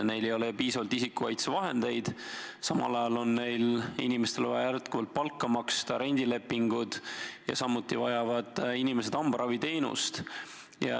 Neil ei ole piisavalt isikukaitsevahendeid, samal ajal on neil inimestele vaja jätkuvalt palka maksta, on ka rendilepingud, samuti vajavad inimesed hambaraviteenust.